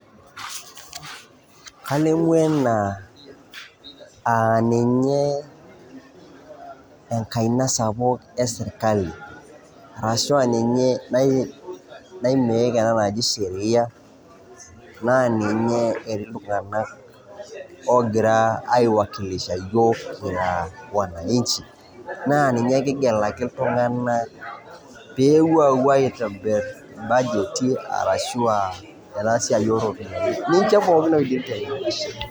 kalimu ena aa ninye enkaina sapuk esirikali, ashu aaninye nai make ena naji sheria , naa ninye etii iltung'anak ogira ai wakilisha iyiook, aa wanaichi naa ninye kigelaki iltung'anak pee epuo aitobir ibajeti ashu ena siaai oo ropiyiani ninche pookin otii esiai .